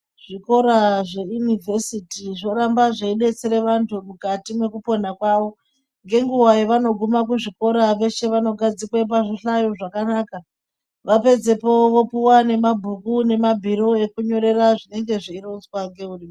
Zvikora zveinivesiti zvoramba zveibetsere antu mukati mwekupona kwavo. Ngenguva yavanoguma kuzvikora veshe vanogadzikwe pazvihlayo zvakanaka. Vapedzepo vopuva nemabhuku nemabhiro ekunyorera zvinenge zveironzwa ngekurimwo.